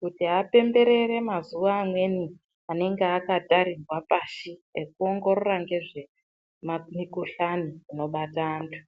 kuti atenderere mazuva amweni anenge akatarirwa pashi nekuongorora ngezve mikohlani inobata antu.